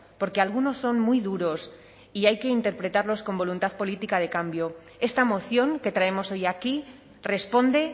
porque algunos son muy duros y hay que interpretarlos con voluntad política de cambio esta moción que traemos hoy aquí responde